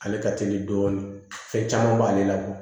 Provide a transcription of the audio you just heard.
Ale ka teli dɔɔnin fɛn caman b'ale la